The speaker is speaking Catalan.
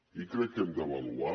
i crec que hem d’avaluar